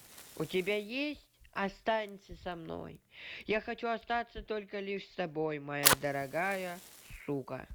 у тебя есть останься со мной я хочу остаться только лишь с тобой моя дорогая сука